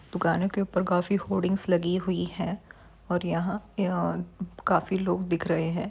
दुकानों के ऊपर काफी होर्डिंग्स लगी हुई हैं और यहा काफी लोग दिख रहे हैं।